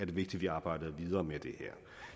vigtigt vi arbejder videre med det her